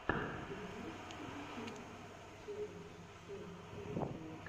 ты можешь включить челлендж сэйнт этилла